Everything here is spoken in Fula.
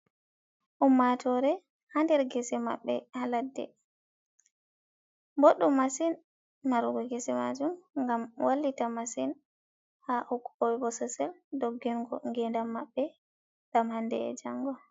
Ummatore ha nder gese maɓɓe ha ladde, boɗɗum masin marugo gese majum ngam wallita masin ha bososel doggingo ngedam maɓɓe ɗam hande e jango.